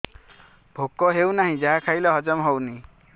ଭୋକ ହେଉନାହିଁ ଯାହା ଖାଇଲେ ହଜମ ହଉନି